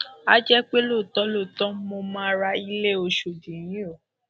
a jẹ pé lóòótọ lóòótọ mo máa ra ilé ọṣọdì yìí o